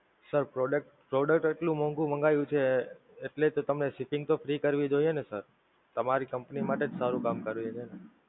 Sir Product Product એટલું મોંઘું મંગાવ્યું છે, એટલે તો તમને Shipping તો Free કરવી જોઈએ ને Sir! તમારી Company માટે જ સારું કામ કરીએ છે ને!